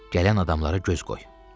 Gələn adamlara göz qoy.